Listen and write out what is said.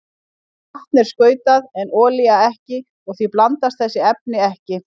Vatn er skautað en olía ekki og því blandast þessi efni ekki.